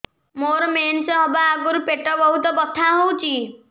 ମୋର ମେନ୍ସେସ ହବା ଆଗରୁ ପେଟ ବହୁତ ବଥା ହଉଚି